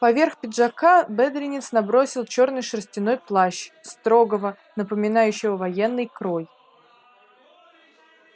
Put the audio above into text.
поверх пиджака бедренец набросил чёрный шерстяной плащ строгого напоминающего военный крой